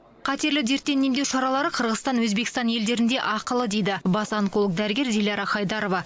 қатерлі дертті емдеу шаралары қырғызстан өзбекстан елдерінде ақылы дейді бас онколог дәрігер диляра қайдарова